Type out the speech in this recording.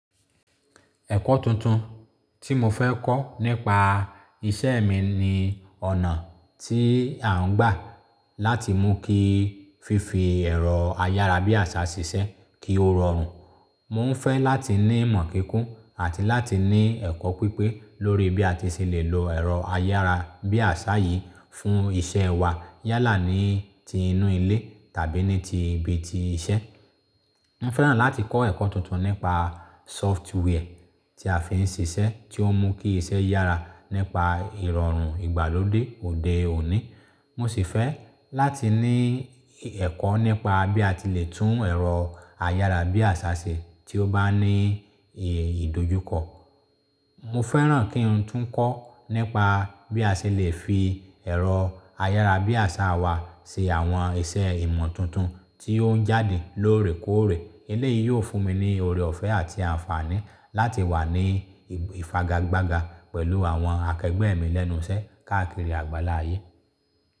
Ẹ̀kọ́ tuntun tí mo fẹ́ kọ́ nípa iṣẹ́ mi ni ọ̀nà tí à ń gbà láti mú kí fífi ẹ̀rọ ayárabíàṣá ṣiṣẹ́ kí ó rọrùn. Mo ń fẹ́ láti ní ìmọ̀ kíkún àti láti ní ẹ̀kọ́ pípé lórí bí a ti ṣe lè lo ẹ̀rọ ayárabíàṣá yìí fún iṣẹ́ wa yálà ní ti inú ilé tàbí ní ti ibi ti iṣẹ́. Mo fẹ́ràn láti kọ́ ẹ̀kọ́ tuntun nípa software tí a fi ń ṣiṣẹ́ tí ó mú kí iṣẹ́ yára nípa Ìrọ̀rùn ìgbàlódé òde òní. Mo sì fẹ́ láti ní ẹ̀kọ́ nípa bí a ti lè tún ẹ̀rọ ayárabíàṣá ṣe tí ó bá ní ìdojúkọ. Mo fẹ́ràn kí n tún kọ́ nípa bí a ṣe lè fi ẹ̀rọ ayárabíàṣá wa ṣe àwọn iṣẹ́ ìmọ̀ tuntun tí ó ń jáde lóòrè kóòrè. Elé yìí yóò fún mi ní orẹ́ ọ̀fẹ́ àti àǹfààní láti wà ní ìfagagbága pẹ̀lú àwọn akẹgbẹ́ mi lẹ́nu iṣẹ́ káàkiri àgbàlá ayé.